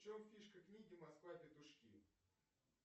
в чем фишка книги москва петушки